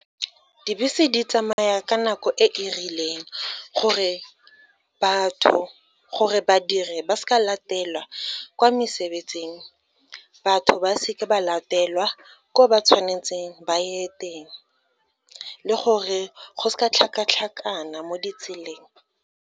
Dibese di tsamaya ka nako e e rileng, gore badiri ba seka latelwa kwa mesebetsing, batho ba seke ba latelwa ko ba tshwanetseng ba ye teng, le gore go seka tlhakatlhakana mo ditseleng.